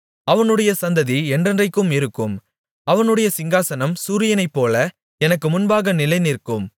அவனுடைய சந்ததி என்றென்றைக்கும் இருக்கும் அவனுடைய சிங்காசனம் சூரியனைப்போல எனக்கு முன்பாக நிலைநிற்கும்